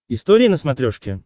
история на смотрешке